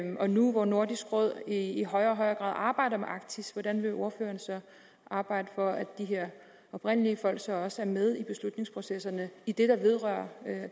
og nu hvor nordisk råd i i højere og højere grad arbejder med arktis hvordan vil ordføreren så arbejde for at de her oprindelige folk så også er med i beslutningsprocesserne i det der vedrører